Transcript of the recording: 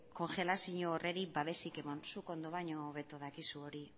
kongelazio babesik eman zuk ondo baino hobeto dakizu hori